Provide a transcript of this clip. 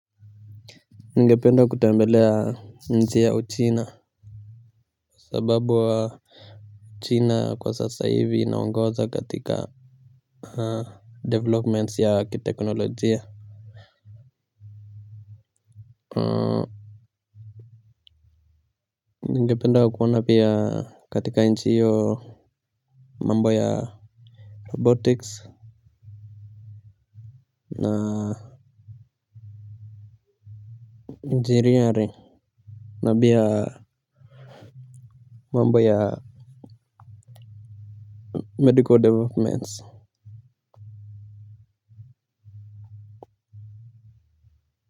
Ningependa kutembelea nchi ya Uchina. Sababu wa china kwa sasa hivi inaongoza katika developments ya ki teknolojia. Ningependa kuona pia katika nchi hiyo mambo ya robotics na engineering na pia mambo ya medical developments.